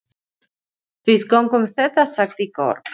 Við göngum þetta sagði Georg.